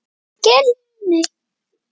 Til hvers nota þeir hana?